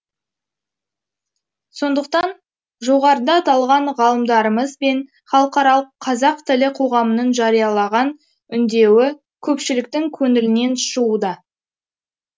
сондықтан жоғарыда аталған ғалымдарымыз бен халықаралық қазақ тілі қоғамының жариялаған үндеуі көпшіліктің көңілінен шығуда